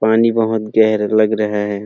पानी बोहोत गेहरा लग रहै हैं।